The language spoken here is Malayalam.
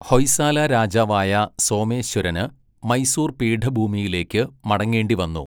ഹൊയ്സാല രാജാവായ സോമേശ്വരന് മൈസൂർ പീഠഭൂമിയിലേക്ക് മടങ്ങേണ്ടിവന്നു.